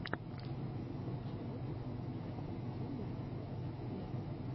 лучший выпуск джастин тимберлейк вево